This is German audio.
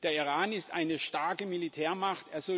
Der Iran ist eine starke Militärmacht